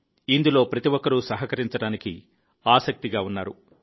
ఇందులో ప్రతి ఒక్కరూ సహకరించడానికి ఆసక్తిగా ఉన్నారు